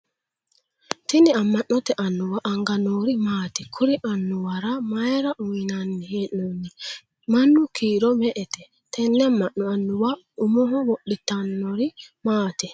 Tinni ama'note anuwa anga noori maati? Kuri anuwara mayira uuyinnanni hee'noonni? Manu kiiro me"ete? Tenne ama'no annuwa umoho wodhitanori maati?